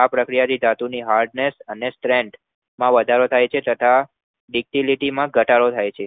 આ પ્રક્રિયાથી ધાતુની Heartiness ને strength માં વધારો થાય છે તથા ductility માં ઘટાડો હોય છે